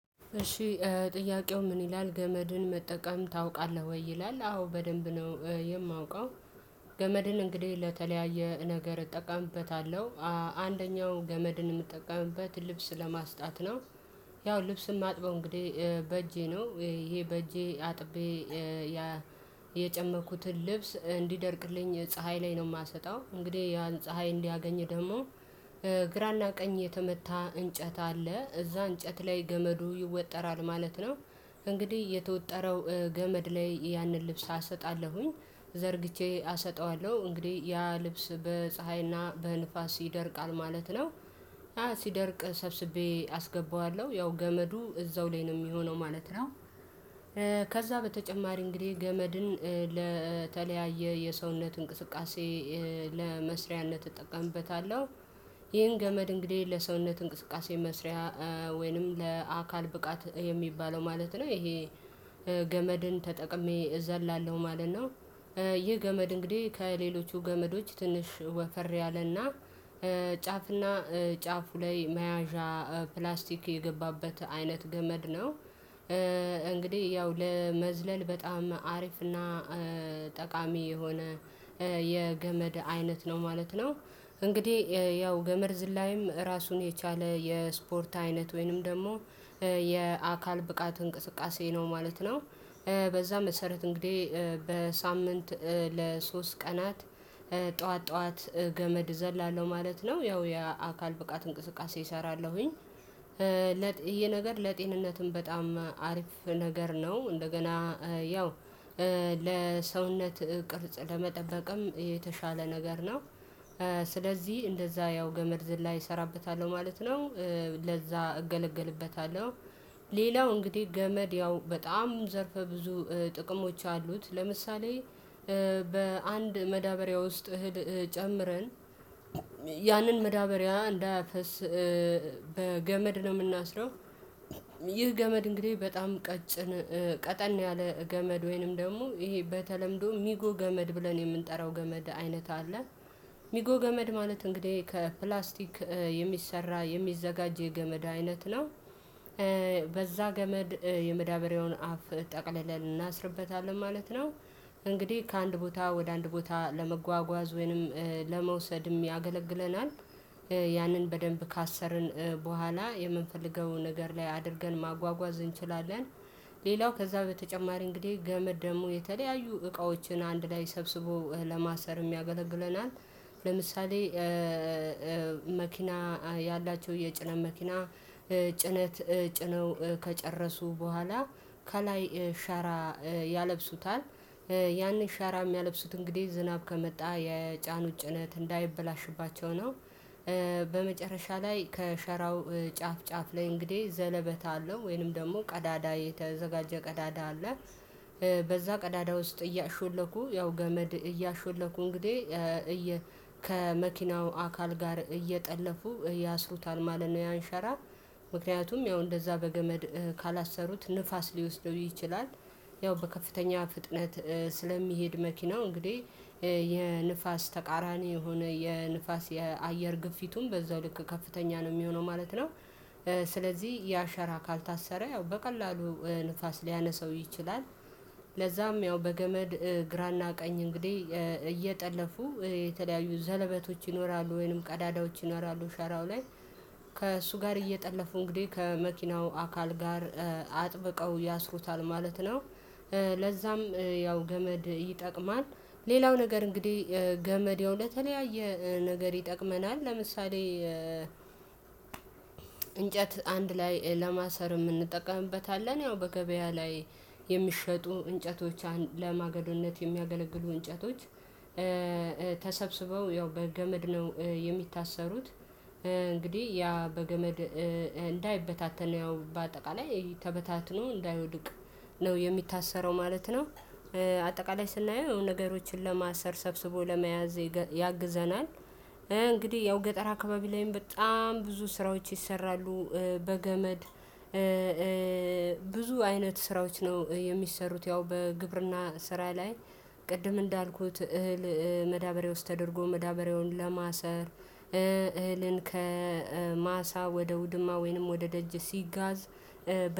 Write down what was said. እሺ ጥያቄው ምን? ይላል ገመድን መጠቀም ታውቃለህ ወይ ይላል አዎ በደንብ ነው የማውቀው። ገመድን እንግዲህ ለተለያየ ነገር እጠቀምበታለሁ። አንደኛውን ገመድን የምጠቀምበት ልብስ ለማስጣት ነው። ያው ልብስን ማጥበው እንግዲህ በእጄ ነው ይሄ በእጄ አጥቤ የጨመኩትን ልብስ እንዲደርቅልኝ ፀሀይ ላይ ነው የማሰጣው። እንግዲህ ያን ፀሀይ እንዲያገኝ ደግሞ ግራና ቀኝ የተመታ እንጨት አለ እዛ እንጨት ላይ ገመዱ ይወጠራል ማለት ነው። እንግዲህ የተወጠረው ገመድ ላይ ያንን ልብስ አሰጣለሁኝ ዘርግቼ አሰጠዋለሁ እንግዲህ ያ ልብስ በፀሀይና በንፋስ ይደርቃል ማለት ነው። ሲደርቅ ሰብስቤ አስገባዋለሁ ያው ገመዱ እዛው ላይ ነው የሚሆነው ማለት ነው። ከዛ በተጨማሪ እንግዲህ ገመድን ለተለያየ የሰውነት እንቅስቃሴ ለመስሪያነት እጠቀምበታለሁ። ይህን ገመድ እንግዲህ ለሰውነት እንቅስቃሴ መስሪያ ወይንም ለአካል ብቃት የሚባለው ማለት ነው ይሄ ገመድን ተጠቅሜ እዘላለሁ ማለት ነው። ይህ ገመድ እንግዲህ ከሌሎቹ ገመዶች ትንሽ ወፈር ያለና ጫፍና ጫፉ ላይ መያዣ ፕላስቲክ የገባበት አይነት ገመድ ነው። እንግዲህ ያው ለመዝለል በጣም አሪፍ እና ጠቃሚ የሆነ የገመድ አይነት ነው ማለት ነው። እንግዲህ ያው ገመድ ዝላይም ራሱን የቻለ የስፖርት አይነት ወይንም ደግሞ የአካል ብቃት እንቅስቃሴ ነው ማለት ነው። በዛ መሰረት እንግዲህ በሳምንት ለሶስት ቀናት ጠዋት ጠዋት ገመድ እዘላለሁ ማለት ነው ያው የአካል ብቃት እንቅስቃሴ እሰራለሁኝ። ይሄ ነገር ለጤንነትም በጣም አሪፍ ነገር ነው። እንደገና ያው ለሰውነት ቅርጽ ለመጠበቅም የተሻለ ነገር ነው። ስለዚህ እንደዛ ያው ገመድ ዝላይ እሰራበታለሁ ማለት ነው። ለዛ እገለገልበታለሁ። ሌላው እንግዲህ ገመድ ያው በጣም ዘርፈ ብዙ ጥቅሞች አሉት። ለምሳሌ በአንድ መዳበሪያ ውስጥ እህል ጨምረን ያንን መዳበሪያ እንዳያፈስ በገመድ ነው የምናስረው። ይህ ገመድ እንግዲህ በጣም ቀጭን ቀጠን ያለ ገመድ ወይንም ደግሞ ይሄ በተለምዶ ሚጎ ገመድ ብለን የምንጠራው ገመድ አይነት አለ። ሚጎ ገመድ ማለት እንግዲህ ከፕላስቲክ የሚሰራ የሚዘጋጅ የገመድ አይነት ነው። በዛ ገመድ የመዳበሪያውን አፍ ጠቅልለን እናስርበታለን ማለት ነው። እንግዲህ ከአንድ ቦታ ወደ አንድ ቦታ ለመጓጓዝ ወይንም ለመውሰድም ያገለግለናል። ያንን በደንብ ካሰርን በኋላ የምንፈልገውን ነገር ላይ አድርገን ማጓጓዝ እንችላለን። ሌላው ከዛ በተጨማሪ እንግዲህ ገመድ ደግሞ የተለያዩ እቃዎችን አንድ ላይ ሰብስቦ ለማሰር ያገለግለናል። ለምሳሌ መኪና ያላቸው የጭነት መኪና ጭነት ጭነው ከጨረሱ በኋላ ከላይ ሻራ ያለብሱታል ያንን ሻራ የሚያለብሱት እንግዲህ ዝናብ ከመጣ የጫኑ ጭነት እንዳይበላሽባቸው ነው። በመጨረሻ ላይ ከሸራው ጫፍ ጫፍ ላይ እንግዲህ ዘለበት አለው ወይንም ደግሞ ቀዳዳ የተዘጋጀ ቀዳዳ አለ። በዛ ቀዳዳ ውስጥ እያሾለኩ ያው ገመድ እያሾለኩ እንግዲህ እየ ከመኪናው አካል ጋር እየጠለፉ ያስሩታል ማለት ነው። ያንሸራ ምክንያቱም ያው እንደዛ በገመድ ካላሰሩት ንፋስ ሊወስደው ይችላል። ያው በከፍተኛ ፍጥነት ስለሚሄድ መኪናው እንግዲህ የንፋስ ተቃራኒ የሆነ የንፋስ የአየር ግፊቱም በዛው ልክ ከፍተኛ ነው የሚሆነው ማለት ነው። ስለዚህ የአሸራ ካልታሰረ ያው በቀላሉ ንፋስ ሊያነሳው ይችላል። ለዛም ያው በገመድ ግራና ቀኝ እንግዲህ እየጠለፉ የተለያዩ ዘለበቶች ይኖራሉ ወይንም ቀዳዳዎች ይኖራሉ ሸራው ላይ ከእሱ ጋር እየጠለፉ እንግዲህ ከመኪናው አካል ጋር አጥብቀው ያስሩታል ማለት ነው። ለዛም ያው ገመድ ይጠቅማል። ሌላው ነገር እንግዲህ ገመድ ያው ለተለያየ ነገር ይጠቅመናል። ለምሳሌ እንጨት አንድ ላይ ለማሰርም እንጠቀምበታለን ያው በገበያ ላይ የሚሸጡ እንጨቶች ለማገዶነት የሚያገለግሉ እንጨቶች ተሰብስበው ያው በገመድ ነው። የሚታሰሩት እንግዲህ ያ በገመድ እንዳይበታተን ያው በአጠቃላይ ተበታትኖ እንዳይወድቅ ነው የሚታሰረው ማለት ነው። በአጠቃላይ ስናየው ነገሮችን ለማሰር ሰብስቦ ለመያዝ ያግዘናል። እንግዲህ ያው ገጠር አካባቢ ላይም በጣም ብዙ ስራዎች ይሰራሉ። በገመድ ብዙ አይነት ስራዎች ነው የሚሰሩት ያው በግብርና ስራ ላይ። ቅድም እንዳልኩት እህል መዳበርያ ውስጥ ተደርጎ መዳበርያውን ለማሰር ከማሳ ወደ ውድማ ወይንም ወደ ደጅ ሲጋዝ።